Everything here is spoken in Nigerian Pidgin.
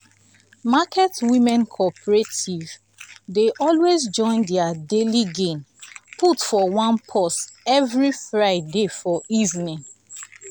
market women cooperative dey always join their daily gain put for one purse every friday for evening.